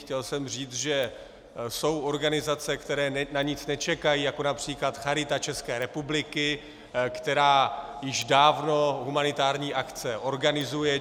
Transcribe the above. Chtěl jsem říct, že jsou organizace, které na nic nečekají, jako například Charita České republiky, která již dávno humanitární akce organizuje.